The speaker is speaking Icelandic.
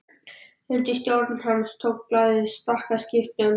Undir stjórn hans tók blaðið stakkaskiptum.